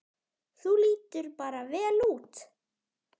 Þú lítur bara vel út!